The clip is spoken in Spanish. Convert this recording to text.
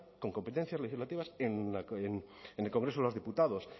con competencias legislativas en el congreso de los diputados